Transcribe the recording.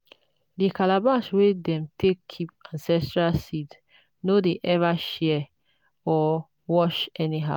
the calabash wey dem take keep ancestral seeds no dey ever share or wash anyhow.